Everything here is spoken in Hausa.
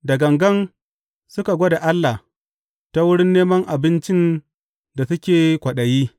Da gangan suka gwada Allah ta wurin neman abincin da suke kwaɗayi.